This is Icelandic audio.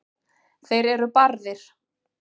þeir eru barðir